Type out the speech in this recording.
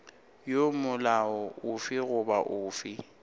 ya molao ofe goba ofe